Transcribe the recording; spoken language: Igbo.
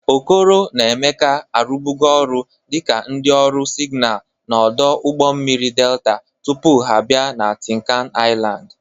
Okoro na Emeka rụbụrụ ọrụ dịka ndị ọrụ sịgnal n' ọdụ ụgbọ mmiri Delta tupu ha bịa na Tịnkan Ịlandị